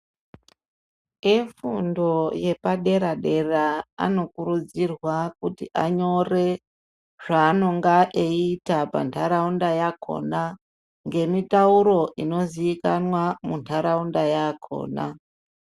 Efundo yepadera-dera anokurudzirwa kuti anyore zvaanonga eiita pantaraunda yakhona ngemitauro inoziikanwa muntaraunda yakhona.